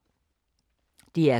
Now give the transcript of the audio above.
DR K